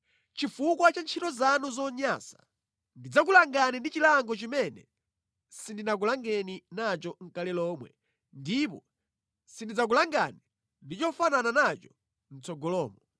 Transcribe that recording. Chifukwa cha ntchito zanu zonyansa ndidzakulangani ndi chilango chimene sindinakulangeni nacho nʼkale lomwe ndipo sindidzakulangani ndi chofanana nacho mʼtsogolomo.